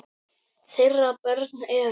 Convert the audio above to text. Þeirra börn eru.